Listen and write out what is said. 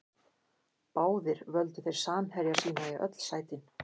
Báðir völdu þeir samherja sína í öll sætin.